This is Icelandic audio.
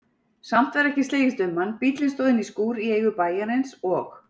Samt var ekki slegist um hann, bíllinn stóð inní skúr í eigu bæjarins og